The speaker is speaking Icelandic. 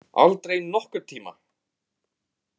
Aldrei nokkurn tíma!